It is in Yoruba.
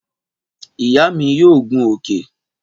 Ìyá mi yóò gun òkè